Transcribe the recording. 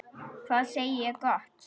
Hvað segi ég gott?